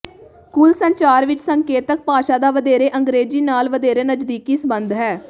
ਕੁੱਲ ਸੰਚਾਰ ਵਿਚ ਸੰਕੇਤਕ ਭਾਸ਼ਾ ਦਾ ਵਧੇਰੇ ਅੰਗ੍ਰੇਜ਼ੀ ਨਾਲ ਵਧੇਰੇ ਨਜ਼ਦੀਕੀ ਸਬੰਧ ਹੈ